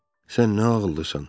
Sən nə ağıllısan.